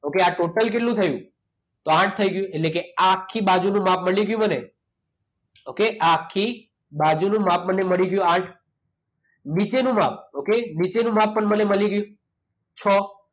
Okay આ total કેટલું થયું? તો આઠ થઈ ગયું એટલે કે આ આખી બાજુનું માપ મળી ગયું મને. ઓકે? આ આખી બાજુનું માપ મને મળી ગયું આઠ. નીચેનું માપ ઓકે? નીચેનું માપ પણ મને મળી ગયું છ